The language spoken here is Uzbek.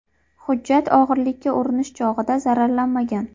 Hujjat o‘g‘rilikka urinish chog‘ida zararlanmagan.